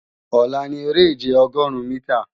Ọ̀la ni eré-ìje Ọgọrun-mìtà